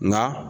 Nka